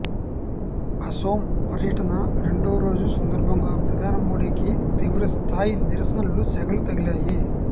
అసోం పర్యటన రెండో రోజు సందర్భంగా ప్రధాని మోడీకి తీవ్రస్థాయి నిరసనల సెగలు తగిలాయి